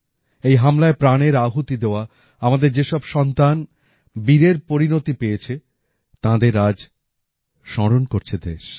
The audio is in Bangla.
এই হামলায় প্রাণের আহুতি দেওয়া আমাদের যে সব সন্তান বীরের পরিণতি পেয়েছে তাঁদের আজ স্মরণ করছে দেশ